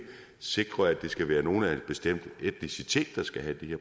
sikre at det skal være nogle af en bestemt etnicitet der skal have de